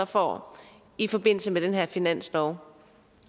får i forbindelse med den her finanslov